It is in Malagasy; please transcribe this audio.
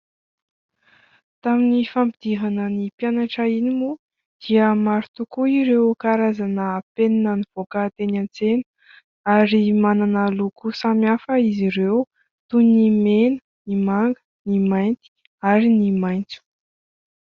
Tamin'ny fampidirana ny mpianatra iny moa dia maro tokoa ireo karazana penina nivoaka teny an-tsena ary manana loko samy hafa izy ireo toy : ny mena, ny manga, ny mainty ary ny maitso.